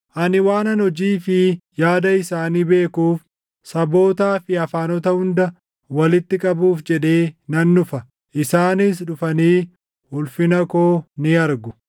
“Ani waanan hojii fi yaada isaanii beekuuf, sabootaa fi afaanota hunda walitti qabuuf jedhee nan dhufa; isaanis dhufanii ulfina koo ni argu.